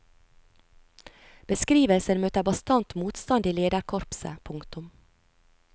Beskrivelsen møter bastant motstand i lederkorpset. punktum